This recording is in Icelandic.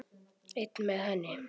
Einn með henni.